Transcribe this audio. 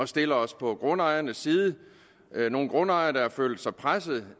stille os på grundejernes side der er nogle grundejere der har følt sig presset